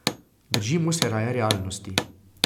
Držimo se raje realnosti.